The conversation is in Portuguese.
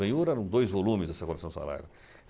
Bem, ouro eram dois volumes dessa coleção Saraiva.